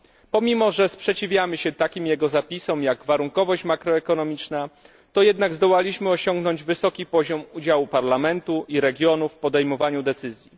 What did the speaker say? Pomimo że sprzeciwiamy się takim jego zapisom jak warunkowość makroekonomiczna, to jednak zdołaliśmy osiągnąć wysoki poziom udziału Parlamentu i regionów w podejmowaniu decyzji.